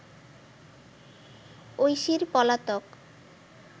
ঐশীর পলাতক